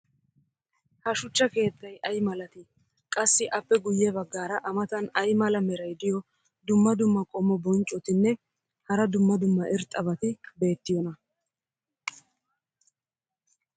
ha shuchcha keettay ay malatii? qassi appe guye bagaara a matan ay mala meray diyo dumma dumma qommo bonccotinne hara dumma dumma irxxabati beettiyoonaa?